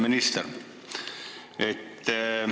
Hea minister!